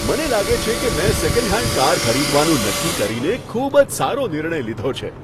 મને લાગે છે કે મેં સેકન્ડ હેન્ડ કાર ખરીદવાનું નક્કી કરીને ખૂબ જ સારો નિર્ણય લીધો છે.